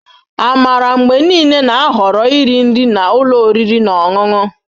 Amara mgbe niile na-ahọrọ iri nri na ụlọ oriri na ọṅụṅụ